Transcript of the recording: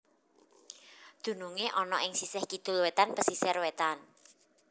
Dunungé ana ing sisih kidul wétan pesisir wétan